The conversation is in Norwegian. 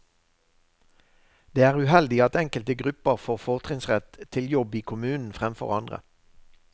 Det er uheldig at enkelte grupper får fortrinnsrett til jobb i kommunen fremfor andre.